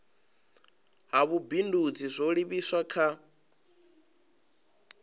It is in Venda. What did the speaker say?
ha vhubindudzi zwo livhiswa kha